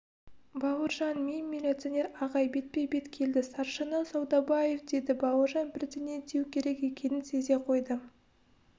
бауыржан мен милиционер ағай бетпе-бет келді старшина саудабаев деді бауыржан бірдеңе деу керек екенін сезе қойды